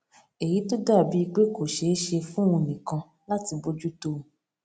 èyí tó dà bíi pé kò ṣeé ṣe fún òun nìkan láti bójú tó